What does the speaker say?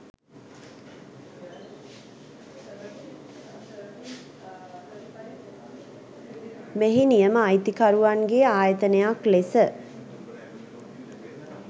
මෙහි නියම අයිතිකරුවන්ගේ ආයතනයක් ලෙස